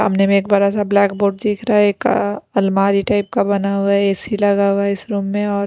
सामने में एक बड़ा सा ब्लैक बोर्ड दिख रहा है एक अलमारी टाइप का बना हुआ है ए_सी लगा हुआ है इस रूम में और --